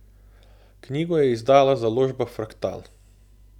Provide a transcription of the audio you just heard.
Knjigo je izdala založba Fraktal.